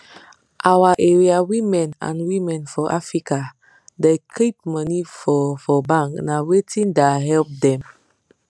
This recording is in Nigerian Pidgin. our area women and women for africa da keep money for for bank na wetin da help dem